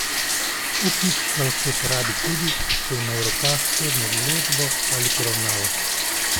Upnik ga lahko uporabi tudi, ko ima v rokah sodno odločbo ali poravnavo.